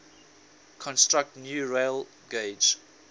construct new railgauge